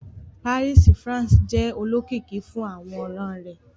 Paris, France, jẹ olokiki fun aworan rẹ